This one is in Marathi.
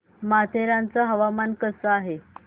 माथेरान चं हवामान कसं आहे